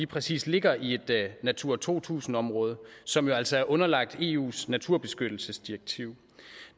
præcis ligger i et natura to tusind område som jo altså er underlagt eus naturbeskyttelsesdirektiv